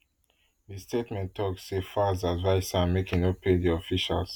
di statement tok say falz advise am say make e no pay di officials